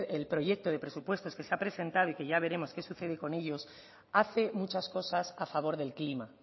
el proyecto de presupuestos que se ha presentado y que ya veremos qué sucede con ellos hace muchas cosas a favor del clima